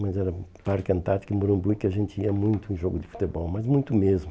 Mas era Parque Antártico e Morumbi que a gente ia muito em jogo de futebol, mas muito mesmo.